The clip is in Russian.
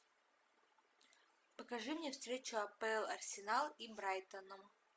покажи мне встречу апл арсенал и брайтона